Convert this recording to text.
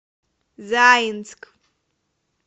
заинск